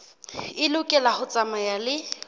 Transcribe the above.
e lokela ho tsamaya le